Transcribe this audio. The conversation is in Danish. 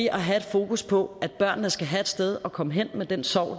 at have fokus på at børnene skal have et sted at komme hen med den sorg